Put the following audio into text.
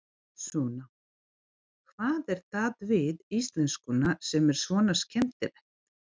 Sunna: Hvað er það við íslenskuna sem er svona skemmtilegt?